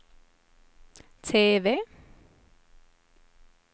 TV